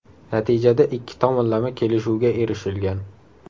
Natijada ikki tomonlama kelishuvga erishilgan.